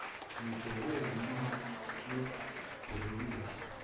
nibheke umnyombo wobulelesi